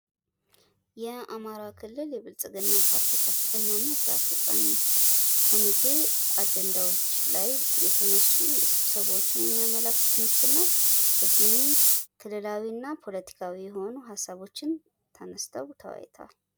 የአማራ ክልል የብልጽግና ፓርቲ የከፍተኛ እና ስራ አስፈጻሚ ኮሚቴ አጀንዳዎች ላይ የተነሱ ስብሰባዎችን የሚያመላክት ምስል ነው። የዚህም ክልላዊ እና ፖለቲካዊ የሆኑ ሀሳቦችን ተመስጠው ተወያይተዋል።